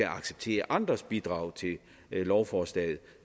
acceptere andres bidrag til lovforslaget